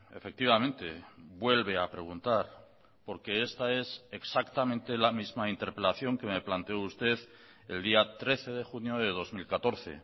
efectivamente vuelve a preguntar porque esta es exactamente la misma interpelación que me planteó usted el día trece de junio de dos mil catorce